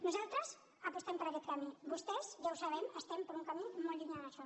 nosaltres apostem per aquest camí vostès ja ho sabem estan per un camí molt llunyà d’això